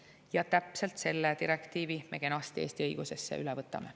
Ja täpselt selle direktiivi me kenasti Eesti õigusesse üle võtame.